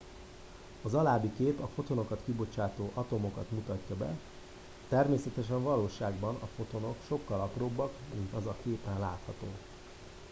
az alábbi kép a fotonokat kibocsátó atomokat mutatja be természetesen a valóságban a fotonok sokkal apróbbak mint az a képen látható